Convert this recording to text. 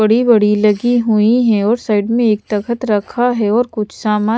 बड़ी-बड़ी लगी हुई है और साइड में एक तख्त रखा है और कुछ सामान --